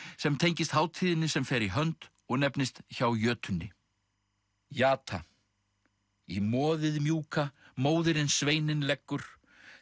sem tengist hátíðinni sem fer í hönd og nefnist hjá jötunni jata í moðið mjúka móðirin sveininn leggur